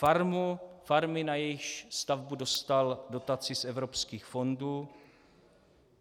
Farmy, na jejíž stavbu dostal dotaci z evropských fondů.